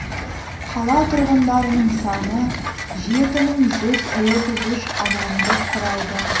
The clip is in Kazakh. қала тұрғындарының саны жеті мың жүз отыз үш адамды құрайды